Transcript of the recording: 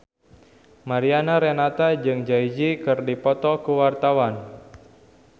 Mariana Renata jeung Jay Z keur dipoto ku wartawan